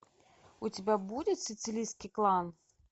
у тебя будет сицилийский клан